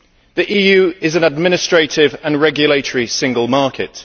the EU is an administrative and regulatory single market